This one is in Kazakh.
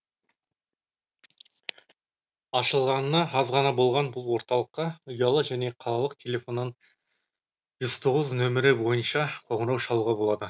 ашылғанына аз ғана болған бұл орталыққа ұялы және қалалық телефоннан жүз тоғыз нөмері бойынша қоңырау шалуға болады